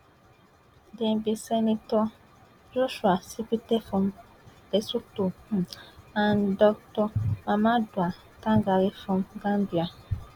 dem be senator joshua setipa from lesotho um and dr mamadou tangara from um gambia